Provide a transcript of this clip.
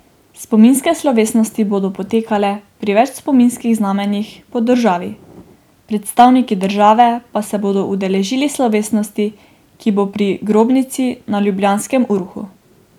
Spominske slovesnosti bodo potekale pri več spominskih znamenjih po državi, predstavniki države pa se bodo udeležili slovesnosti, ki bo pri grobnici na ljubljanskem Urhu.